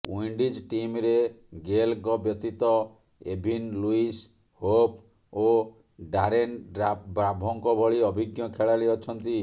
Windies ଟିମରେ ଗେଲଙ୍କ ବ୍ୟତୀତ ଏଭିନ୍ ଲୁଇସ୍ ହୋପ୍ ଓ ଡାରେନ୍ ବ୍ରାଭୋଙ୍କ ଭଳି ଅଭିଜ୍ଞ ଖେଳାଳି ଅଛନ୍ତି